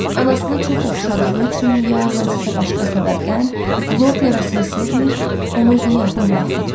Anasına çox oxşadığı üçün ya hansısa başqa səbəbdən Lord nəvəsini sevmir, onu özünə yaxın buraxmırdı.